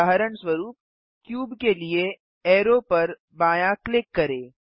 उदाहरणस्वरुप क्यूब के लिए अरो पर बायाँ क्लिक करें